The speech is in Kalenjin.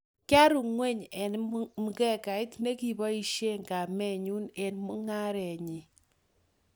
Kiaru ngweny eng mkekait nekiboishee kamenyu eng mungarenyi